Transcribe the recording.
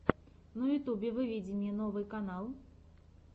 на ютюбе выведи мне новий канал